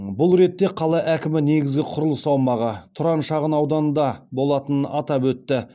бұл ретте қала әкімі негізгі құрылыс аумағы тұран шағын ауданында болатынын атап өтті